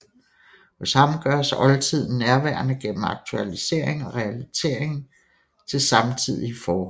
Hos ham gøres oldtiden nærværende gennem aktualisering og relatering til samtidige forhold